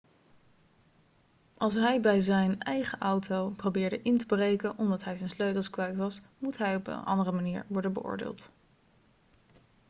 als hij bij zijn eigen auto probeerde in te breken omdat hij zijn sleutels kwijt was moet hij op een andere manier worden beoordeeld